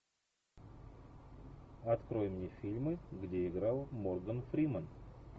открой мне фильмы где играл морган фриман